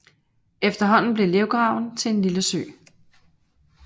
Efterhånden blev lergraven til en lille sø